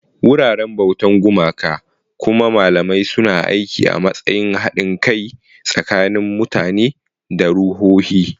Wuraren bautar gumaka, kuma malamai suna aiki a matsayin haɗin kai tsakanin mutane da ruhohi.